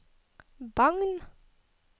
Bagn